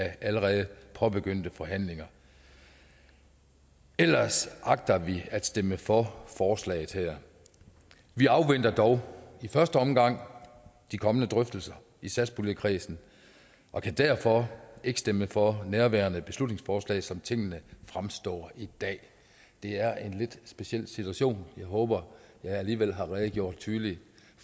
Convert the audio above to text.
allerede påbegyndte forhandlinger ellers agter vi at stemme for forslaget her vi afventer dog i første omgang de kommende drøftelser i satspuljekredsen og kan derfor ikke stemme for nærværende beslutningsforslag som tingene fremstår i dag det er en lidt speciel situation jeg håber jeg alligevel har redegjort tydeligt